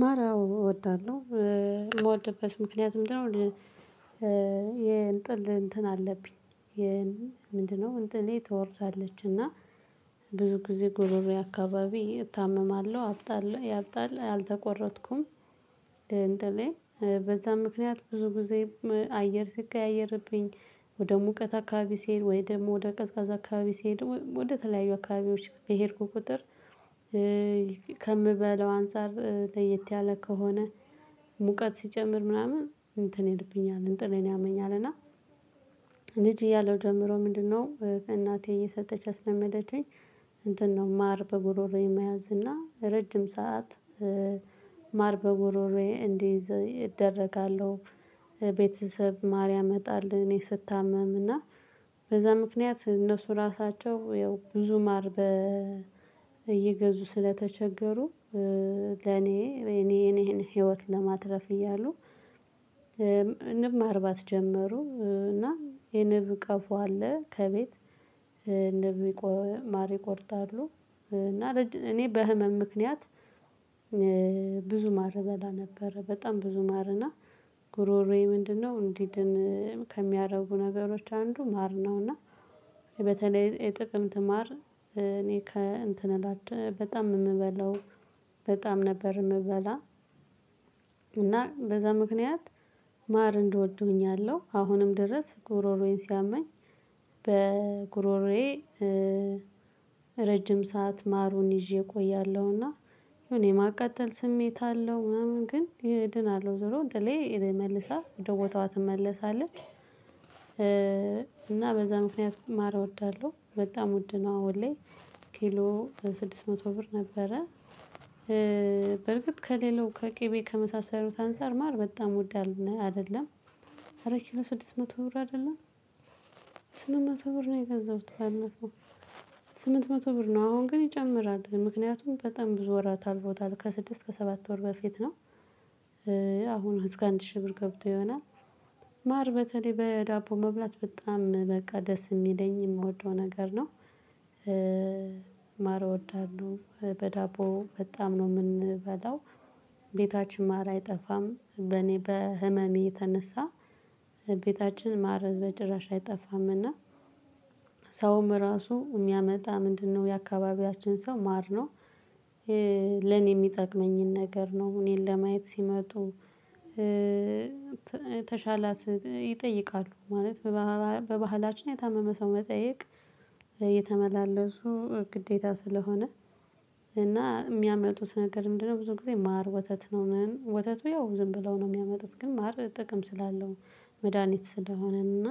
ማራው እወዳለሁ የምወድበት ምክንያት ምንድነው? የእንጥል እንትን አለብኝ። ምንድነው? እንጥልዬ ትወርዳለች እና ብዙ ጊዜ ጉሮሮዬ አካባቢ እታመማለሁ አብጣለሁ ያብጣል አልተቆረጥኩም። እንጥሌ በዛ ምክንያት ብዙ ጊዜ አየር ሲቀያየርብኝ። ወደ ሙቀት አካባቢ ሲሄድ ወይ ደግሞ ወደ ቀዝቃዛ አካባቢ ሲሄድ ወደ ተለያዩ አካባቢዎች በሄድኩ ቁጥር። ከምበለው አንፃር ለየት ያለ ከሆነ ሙቀት ሲጨምር ምናምን እንትን ይልብኛል እንጥሌን ያመኛል እና። ልጅ እያለው ጀምሮ ምንድነው እናቴ እየሰጠች ያስለመደችኝ። ነው ማር በጉሮሮዬ መያዝ እና ረጅም ሰዓት ማር በጉሮሮዬ እንድይዝ እደረጋለሁ። ቤተሰብ ማር ያመጣል እኔ ስታመም እና በዛ ምክንያት እነሱ ራሳቸው ያው ብዙ ማር በ እየገዙ ስለተቸገሩ። ለኔ እኔ እኔን ህይወት ለማትረፍ እያሉ። ንብ ማርባት ጀመሩ እና የንብ ቀፎ አለ ከቤት ንብ ማር ይቆርጣሉ። እና እኔ በህመም ምክንያት ብዙ ማር በላ ነበር በጣም ብዙ ማርና ጉሮሮዬ ምንድነው እንዲድን ከሚያደርጉ ነገሮች አንዱ ማር ነው። እና በተለይ የጥቅምት ማር እኔ ከእንትን በጣም የምበለው በጣም ነበር የምበላ። እና በዛ ምክንያት ማር እንድወድ ሁኛለው አሁንም ድረስ ጉሮሮዬን ሲያመኝ። በጉሮሮዬ ረጅም ሰዓት ማሩን ይዤ እቆያለሁና እኔ ማቃጠል ስሜት አለው ምናምን ግን እድናለው ዞሮ እንጥሌ መልሳ ወደ ቦታዋ ትመለሳለች። እና በዛ ምክንያት ማረ እወዳለሁ በጣም ውድ ነው አሁን ላይ ኪሎ ስድስት መቶ ብር ነበረ። በርግጥ ከሌላው ከቅቤ ከመሳሰሉት አንፃር ማር በጣም ውድ አይደለም። ኧረ ኪሎ ስድስት መቶ ብር አይደለም። ስምንት መቶ ብር ነው የገዛሁት ባለፈው። ስምንት መቶ ብር ነው አሁን ግን ይጨምራል ምክንያቱም በጣም ብዙ ወራት አልፎታል ከስድስት ከሰባት ወር በፊት ነው። አሁን እስከ አንድ ሺህ ብር ገብቶ ይሆናል። ማር በተለይ በዳቦ መብላት በጣም በቃ ደስ የሚለኝ የምወደው ነገር ነው። ማር እወዳለሁ በዳቦ በጣም ነው የምንበላው ቤታችን ማር አይጠፋም በኔ በህመሜ የተነሳ። ቤታችን ማር በጭራሽ አይጠፋምና። ሰውም ራሱ የሚያመጣ ምንድነው የአካባቢያችን ሰው ማር ነው። ለኔ የሚጠቅመኝን ነገር ነው እኔን ለማየት ሲመጡ። ተሻላት ይጠይቃሉ ማለት በባህላችን የታመመ ሰው መጠየቅ እየተመላለሱ ግዴታ ስለሆነ። እና የሚያመጡት ነገር ምንድነው ብዙ ጊዜ ማር ወተት ነው ወተቱ ያው ዝም ብለው ነው የሚያመጡት ግን ማር ጥቅም ስላለው። መድሃኒት ስለሆነ እና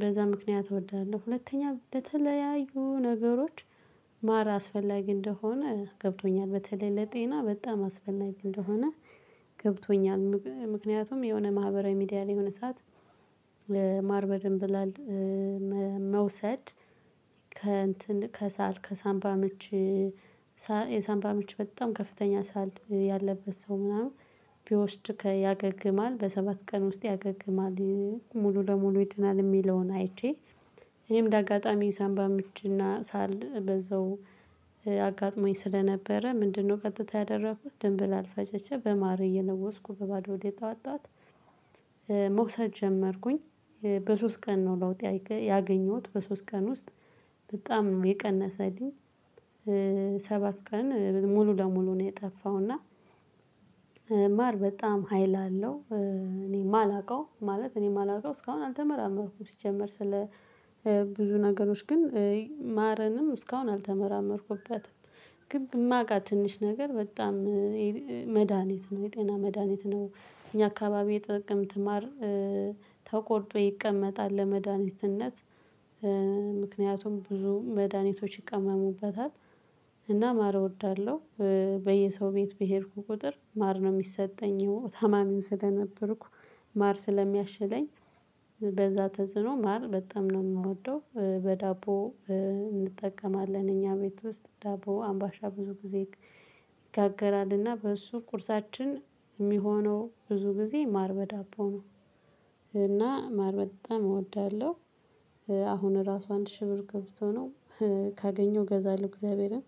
በዛ ምክንያት እወደዳለሁ ሁለተኛ በተለያዩ ነገሮች ማር አስፈላጊ እንደሆነ ገብቶኛል። በተለይ ለጤና በጣም አስፈላጊ እንደሆነ ገብቶኛል። ምክንያቱም የሆነ ማህበራዊ ሚዲያ ላይ የሆነ ሰዓት ማር በደንብ ይላል። መውሰድ ከእንትን ከሳል ከሳምባ ምች የሳምባ ምች በጣም ከፍተኛ ሳል ያለበት ሰው ምናምን ቢወስድ ያገግማል በሰባት ቀን ውስጥ ያገግማል። ሙሉ ለሙሉ ይድናል የሚለውን አይቼ። እኔም እንደ አጋጣሚ ሳንባ ምችና ሳል በዛው አጋጥሞኝ ስለነበረ ምንድነው ቀጥታ ያደረኩት ድንብላል ፈጭቼ በማር እየለወስኩ በባዶ ሆዴ ጠዋት ጠዋት። መውሰድ ጀመርኩኝ በሶስት ቀን ነው ለውጥ ያገኘሁት በሶስት ቀን ውስጥ በጣም ነው የቀነሰልኝ። ሰባት ቀን ሙሉ ለሙሉ ነው የጠፋው። እና ማር በጣም ሀይል አለው እኔ የማላውቀው ማለት እኔ የማላውቀው እስካሁን አልተመራመርኩም ሲጀመር ስለ ብዙ ነገሮች ግን ማርንም እስካሁን አልተመራመርኩበትም። ግነ በማውቃት ትንሽ ነገር በጣም መድሃኒት ነው የጤና መድሃኒት ነው። እኛ አካባቢ የጥቅምት ማር ተቆርጦ ይቀመጣል ለመድኃኒትነት። ምክንያቱም ብዙ መድኃኒቶች ይቀመሙበታል። እና ማር እወዳለሁ። በየሰው ቤት በሄድኩ ቁጥር ማር ነው የሚሰጠኝ ታማሚም ስለነበርኩ ማር ስለሚያሽለኝ። በዛ ተጽዕኖ ማር በጣም ነው የምወደው። በዳቦ እንጠቀማለን እኛ ቤት ውስጥ ዳቦ አምባሻ ብዙ ጊዜ ይጋገራልና በእሱ ቁርሳችን የሚሆነው ብዙ ጊዜ ማር በዳቦ ነው። እና ማር በጣም እወዳለሁ። አሁን ራሱ አንድ ሺህ ብር ገብቶ ነው። ካገኘው ገዛለሁ እግዚአብሔርን